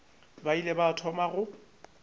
ba ile ba thoma go